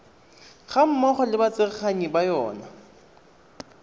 gammogo le batsereganyi ba yona